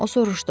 O soruşdu.